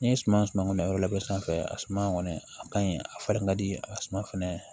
N'i ye suma suma yɔrɔ fɛn fɛn a suma kɔni a kaɲi a falen ka di a suma fɛnɛ